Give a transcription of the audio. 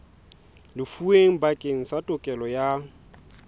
lefuweng bakeng sa tokelo ya